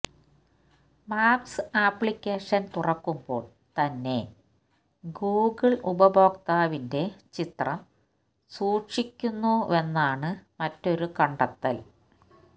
maps application തുറക്കുമ്പോൾ തന്നെ Google ഉപഭോക്താവിന്റെ ചിത്രം സൂക്ഷിക്കുന്നുവെന്നാണ് മറ്റൊരു കണ്ടെത്തൽ